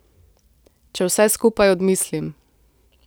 Če vse skupaj odmislim.